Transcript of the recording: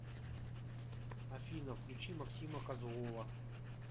афина включи максима козлова